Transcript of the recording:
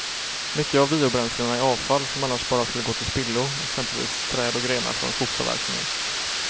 Mycket av biobränslena är avfall som annars bara skulle gå till spillo, exempelvis träd och grenar från skogsavverkningen.